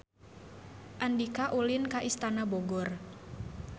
Andika ulin ka Istana Bogor